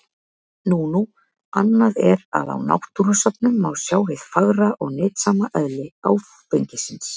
Nú nú, annað er að á náttúrusöfnum má sjá hið fagra og nytsama eðli áfengisins.